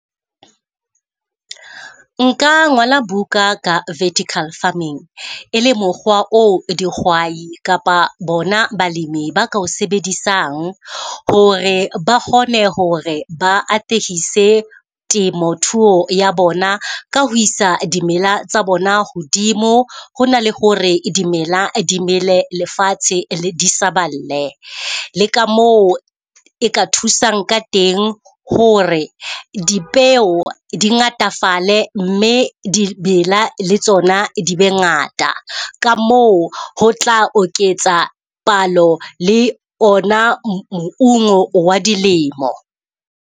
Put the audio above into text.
Nka ngola buka ka vertical farming, e le mokgwa oo dihwai kapa bona balemi ba ka o sebedisang hore ba kgone hore ba atehisa temothuho ya bona ka ho isa dimela tsa bona hodimo. Ho na le hore dimela di mele lefatshe le disaballe, le ka moo e ka thusang ka teng, hore dipeo di ngatafale, mme dimela le tsona di ngata. Ka moo ho tla oketsa palo le ona moungo wa dilemo.